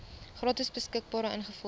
gratis beskikbaar ingevolge